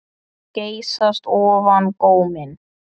Geysast ofan góminn.